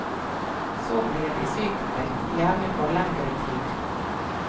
Så blir de sykmeldt, gjerne for lengre tid.